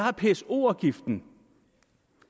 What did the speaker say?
er pso afgiften